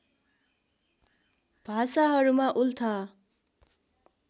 भाषाहरूमा उल्था